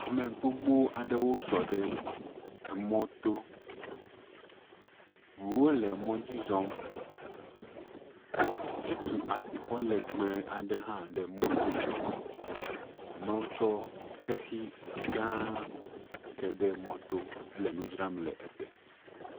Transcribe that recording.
Nyɔvi aɖe tɔ ɖe exɔ me. Ewɔ abe ele nu ɖum. Eƒe kaƒomɔ le gbe mumu ŋu dzi. Etsi ɖo dzo dzi nu le eƒe axa dzi. Gatsiwo le eglia ŋu le xɔa me.